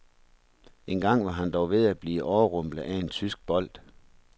Én gang var han dog ved at blive overrumplet af en tysk bold.